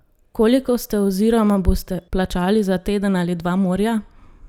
Koliko ste oziroma boste plačali za teden ali dva morja?